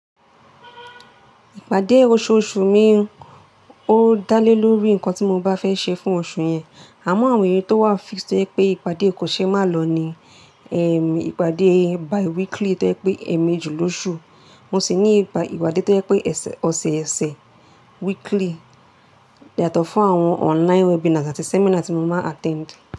Ìpàdé oṣooṣù mi, ó dá lé lórí nǹkan tí mo bá fẹ́ ṣe fún oṣù yẹn. Àmọ́ àwọn èyí tó wà fix tó ẹ pé ìpàdé kò ṣe má lò ni, ẹm, ìpàdé bi-weekly tó ẹ pé èèmejì lósù. Mo sì ní ìpàdé tó ẹ pé ẹsẹ, ọ̀sẹ̀ẹ́sẹ̀, weekly, yàtọ̀ fún àwọn online webinar àti seminar tí mo máa attend.